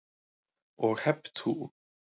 Og hep tú.